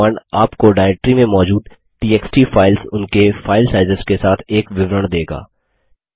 यह कमांड आपको डायरेक्ट्री में मौजूद टीएक्सटी फाइल्स उनके फाइल साइज़ेस के साथ एक विवरण देगा